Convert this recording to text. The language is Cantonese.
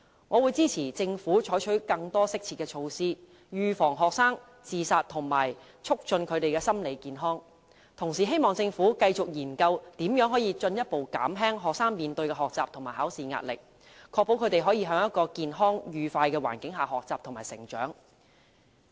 我會支持政府採取更多適切的措施，預防學生自殺及促進學生的心理健康，同時希望政府繼續研究如何進一步減輕學生面對的學習和考試壓力，確保他們可以在一個健康、愉快的環境下學習和成長。